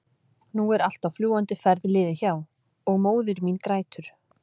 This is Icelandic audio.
nú allt er á fljúgandi ferð liðið hjá- og móðir mín grætur.